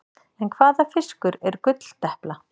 En hvaða fiskur er gulldepla?